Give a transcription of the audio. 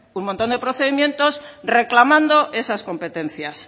un montón de procedimientos reclamando esas competencias